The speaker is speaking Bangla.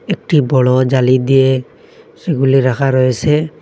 একটি বড় জালি দিয়ে সেগুলি রাখা রয়েসে।